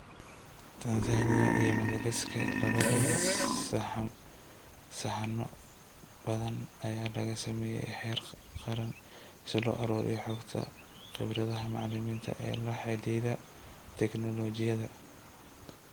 Tansaaniya iyo Madagaskar labadaba, sahanno ballaadhan ayaa laga sameeyay heer qaran si loo ururiyo xogta khibradaha macallimiinta ee la xidhiidha tignoolajiyada.